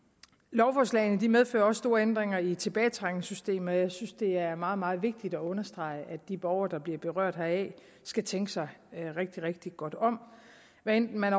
lovforslagene medfører også store ændringer i tilbagetrækningssystemet og jeg synes det er meget meget vigtigt at understrege at de borgere der bliver berørt heraf skal tænke sig rigtig rigtig godt om hvad enten man